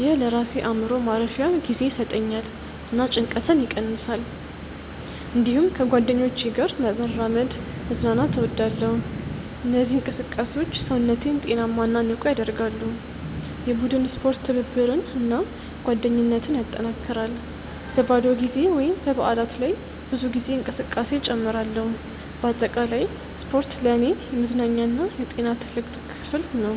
ይህ ለራሴ አእምሮ ማረፊያ ጊዜ ይሰጠኛል እና ጭንቀትን ይቀንሳል። እንዲሁም ከጓደኞቼ ጋር በመራመድ መዝናናት እወዳለሁ። እነዚህ እንቅስቃሴዎች ሰውነቴን ጤናማ እና ንቁ ያደርጋሉ። የቡድን ስፖርት ትብብርን እና ጓደኝነትን ያጠናክራል። በባዶ ጊዜ ወይም በበዓላት ላይ ብዙ ጊዜ እንቅስቃሴ እጨምራለሁ። በአጠቃላይ ስፖርት ለእኔ የመዝናኛ እና የጤና ትልቅ ክፍል ነው።